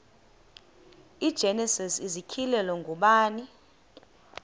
igenesis isityhilelo ngubani